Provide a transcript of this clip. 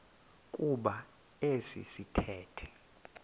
kuba esi sithethe